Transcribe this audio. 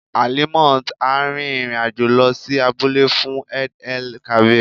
Alimot á rin ìrìn àjò lọ sí abúlé fún Eid-el-kabir.